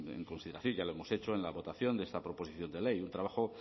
en consideración ya lo hemos hecho en la votación de esta proposición de ley un trabajo